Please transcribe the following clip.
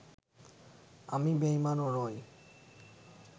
আমি বেঈমানও নই